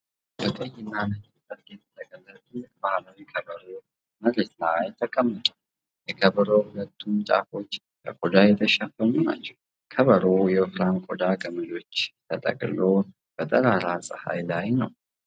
በቀይና ነጭ ጨርቅ የተጠቀለለ ትልቅ ባህላዊ ከበሮ መሬት ላይ ተቀምጧል። የከበሮው ሁለቱም ጫፎች በቆዳ የተሸፈኑ ናቸው። ከበሮው በወፍራም የቆዳ ገመዶች ተጠቅልሎ በጠራራ ፀሐይ ላይ ነው።